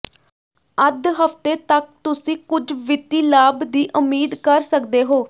ਅੱਧ ਹਫਤੇ ਤੱਕ ਤੁਸੀਂ ਕੁਝ ਵਿੱਤੀ ਲਾਭ ਦੀ ਉਮੀਦ ਕਰ ਸਕਦੇ ਹੋ